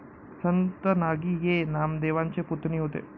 संत नागि ये नामदेवांचे पुतणी होते